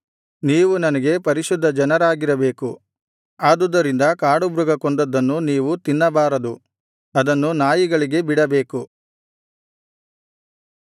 ನೀವು ನನಗೆ ಪರಿಶುದ್ಧ ಜನರಾಗಿರಬೇಕು ಆದುದರಿಂದ ಕಾಡುಮೃಗ ಕೊಂದದ್ದನ್ನು ನೀವು ತಿನ್ನಬಾರದು ಅದನ್ನು ನಾಯಿಗಳಿಗೆ ಬಿಡಬೇಕು